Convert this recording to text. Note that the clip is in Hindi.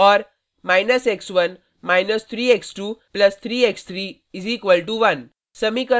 और − x1 − 3 x2 + 3 x3 = 1